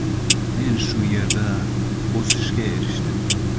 Men shu yerda o‘sishga erishdim.